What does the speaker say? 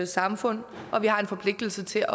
samfund og vi har en forpligtelse til